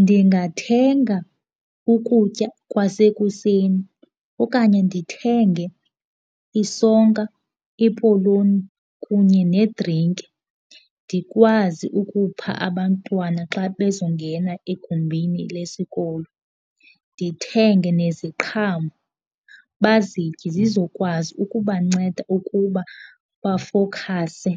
Ndingathenga ukutya kwasekuseni okanye ndithenge isonka, ipoloni kunye nedrinki, ndikwazi ukupha abantwana xa bezongena egumbini lesikolo. Ndithenge neziqhamo bazitye zizokwazi ukubanceda ukuba bafowukhase,